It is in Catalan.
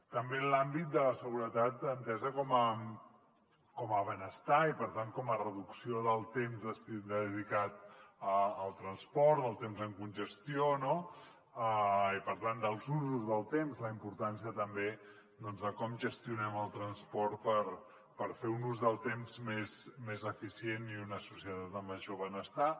també en l’àmbit de la seguretat entesa com a benestar i per tant com a reducció del temps dedicat al transport el temps en congestió i per tant els usos del temps la importància també de com gestionem el transport per fer un ús del temps més eficient i una societat amb major benestar